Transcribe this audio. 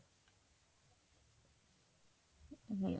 ਹਮ